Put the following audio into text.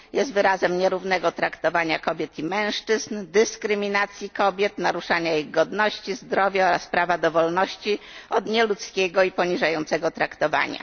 Jest wyrazem nierównego traktowania kobiet i mężczyzn, dyskryminacji kobiet, naruszania ich godności, zdrowia oraz prawa do wolności od nieludzkiego i poniżającego traktowania.